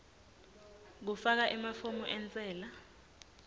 kufaka emafomu entsela